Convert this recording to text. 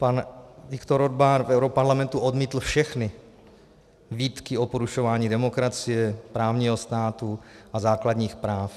Pan Viktor Orbán v europarlamentu odmítl všechny výtky o porušování demokracie, právního státu a základních práv.